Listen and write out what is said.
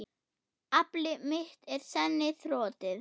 Afl mitt er senn þrotið.